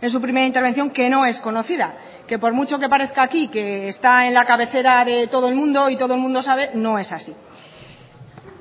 en su primera intervención que no es conocida que por mucho que parezca aquí que está en la cabecera de todo el mundo y todo el mundo sabe no es así